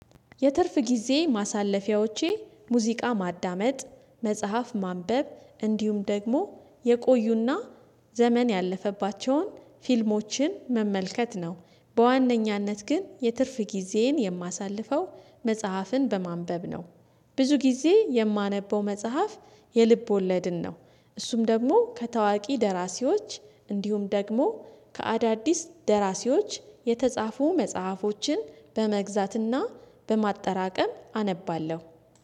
የትርፍ ጊዜ ማሳለፊያዎቼ ሙዚቃ ማዳመጥ መጽሐፍ ማንበብ እንዲሁም ደግሞ የቆዩና ዘመን ያለፈባቸውን ፊልሞችን መመልከት ነው። በዋነኛነት ግን የትርፍ ጊዜን የማሳልፈው መጽሐፍን በማንበብ ነው። ብዙ ጊዜ የማነበው መጽሐፍ የልብ ወለድን ነው። እሱም ደግሞ ከታዋቂ ደራሲዎች እንዲሁም ደግሞ ከአዳዲስ ደራሲዎች የተጻፉ መጽሐፎችን በመግዛትና በማጠራቀም አነባለሁ